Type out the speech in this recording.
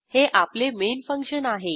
हे आपले main function आहे